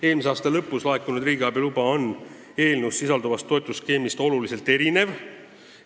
Eelmise aasta lõpus laekunud riigiabi luba on aga eelnõus sisalduvast toetusskeemist suurel määral erinev.